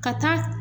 Ka taa